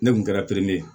Ne kun kɛra ye